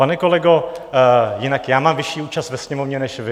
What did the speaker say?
Pane kolego, jinak já mám vyšší účast ve Sněmovně než vy.